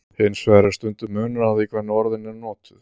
Hins vegar er stundum munur á því hvernig orðin eru notuð.